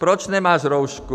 Proč nemáš roušku?